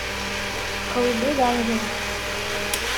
колыбель ангелов